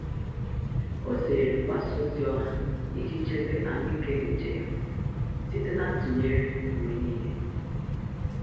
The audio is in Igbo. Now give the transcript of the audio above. Ọ́ zèrè mgbasa ozi ọha iji chèbé ahụ́ị́ké úchè ya site na ntụnyere mgbe nìile.